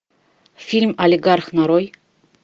фильм олигарх нарой